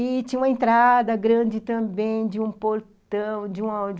E tinha uma entrada grande também de um portão, de uma uma.